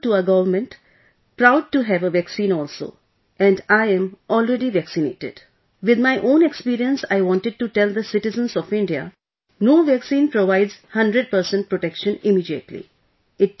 We are thankful to our Government proud to have a vaccine also and I am already vaccinated with my own experience I wanted to tell the citizens of India, no vaccine provides 100% protection immediately